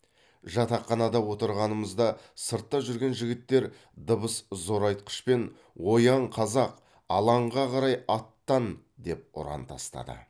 жатақханада отырғанымызда сыртта жүрген жігіттер дыбыс зорайтқышпен оян қазақ алаңға қарай аттан деп ұран тастады